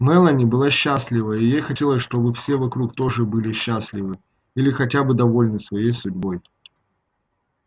мелани была счастлива и ей хотелось чтобы все вокруг тоже были счастливы или хотя бы довольны своей судьбой